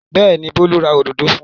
Bẹ́ẹ̀ ni, Bólú ra òdòdó fún un.